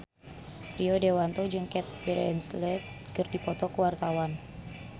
Rio Dewanto jeung Cate Blanchett keur dipoto ku wartawan